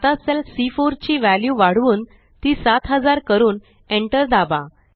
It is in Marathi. आता सेल सी4 ची वॅल्यू वाढवून ती7000 करून Enter दाबा